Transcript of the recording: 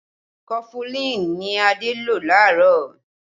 Kọfulin ni Adé lò laarọ